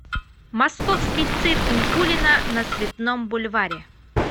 московский цирк никулина на цветном бульваре